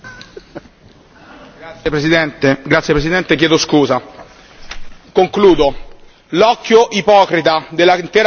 L'occhio ipocrita dell'intera comunità internazionale, infine, un occhio sempre più immobile e impassibile su una delle tante catastrofi umanitarie annunciate.